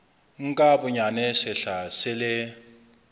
nka bonyane sehla se le